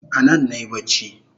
Anan nayi bacci